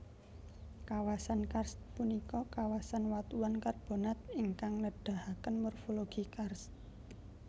Kawasan karst punika kawasan watuan karbonat ingkang nedahaken morfologi karst